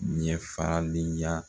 Ɲɛ farali ya